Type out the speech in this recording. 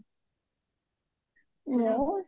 ମୁଁ